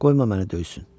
Qoyma məni döysün.